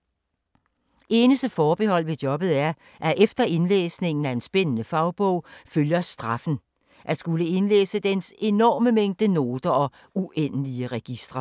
Eneste forbehold ved jobbet er, at efter indlæsningen af en spændende fagbog følger ”straffen”: At skulle indlæse dens enorme mængde noter og uendelige registre.